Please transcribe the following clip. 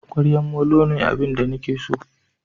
Kwariya molo ne abin da nake so